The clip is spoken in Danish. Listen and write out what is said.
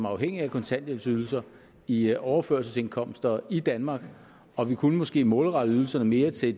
afhængige af kontanthjælpsydelser i overførselsindkomster i danmark og vi kunne måske målrette ydelserne mere til